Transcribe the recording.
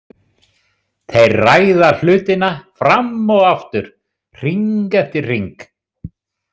Þeir ræða hlutina fram og aftur, hring eftir hring.